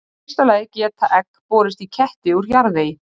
Í fyrsta lagi geta egg borist í ketti úr jarðvegi.